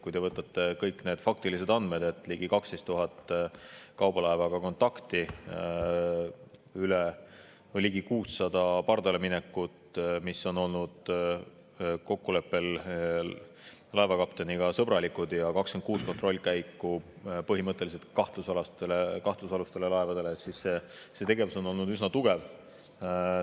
Kui te vaatate kõiki neid faktilisi andmeid – ligi 12 000 kontakti kaubalaevaga, ligi 600 pardaleminekut, mis on toimunud kokkuleppel laevakapteniga, sõbralikult, ja 26 kontrollkäiku põhimõtteliselt kahtlusalustele laevadele –, siis näete, et see tegevus on olnud üsna.